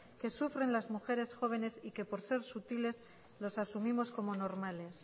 que sufren las mujeres jóvenes y que por ser sutiles los asumimos como normales